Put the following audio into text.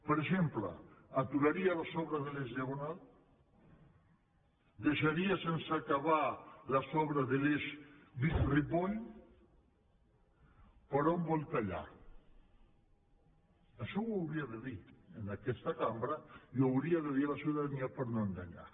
per exemple aturaria les obres de l’eix diagonal deixaria sense acabar les obres de l’eix vic ripoll per on vol tallar això ho hauria de dir en aquesta cambra i ho hauria de dir a la ciutadania per no enganyar